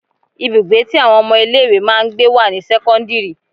Ibùgbé tí àwọn ọmọ ilé ìwé máa ń gbé wà ní sẹ́kọ́ńdírì.